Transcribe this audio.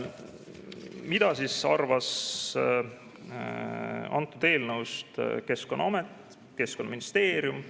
Mida arvasid eelnõust Keskkonnaamet ja Keskkonnaministeerium?